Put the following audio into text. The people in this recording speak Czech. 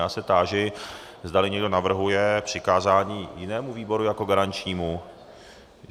Já se táži, zdali někdo navrhuje přikázání jinému výboru jako garančnímu.